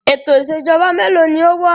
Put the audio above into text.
Ètò ìṣèjọba mélòó ni ó wà?